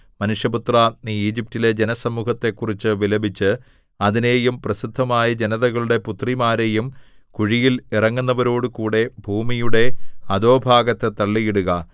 മനുഷ്യപുത്രാ നീ ഈജിപ്റ്റിലെ ജനസമൂഹത്തെക്കുറിച്ചു വിലപിച്ച് അതിനെയും പ്രസിദ്ധമായ ജനതകളുടെ പുത്രിമാരെയും കുഴിയിൽ ഇറങ്ങുന്നവരോടുകൂടെ ഭൂമിയുടെ അധോഭാഗത്തു തള്ളിയിടുക